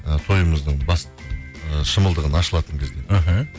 і тойымыздың ы шымылдығын ашылатын кезде іхі